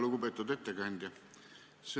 Lugupeetud ettekandja!